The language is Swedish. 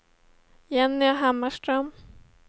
Jenny Hammarström